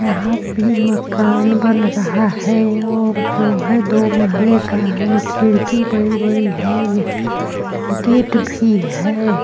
यहाँ भी मकान बन रहा है और जो हे दो महले का है खिड़की बड़ी बड़ी है यह गेट भी है।